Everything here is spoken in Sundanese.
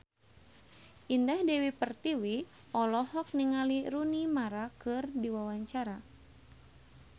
Indah Dewi Pertiwi olohok ningali Rooney Mara keur diwawancara